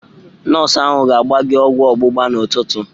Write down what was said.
Nọọsụ ahụ ga-agba gị ọgwụ ọgbụgba n'ụtụtụ.